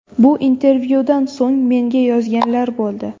Bu intervyudan so‘ng menga yozganlar bo‘ldi.